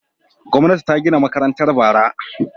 Gwamnati ta gina makarantar bara.